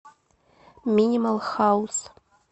минимал хаус